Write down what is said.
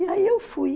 E aí eu fui.